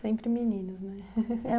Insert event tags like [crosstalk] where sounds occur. Sempre meninos, né? [laughs]